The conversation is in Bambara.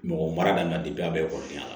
Mɔgɔ mara nana a bɛɛ kɔrɔkɛ la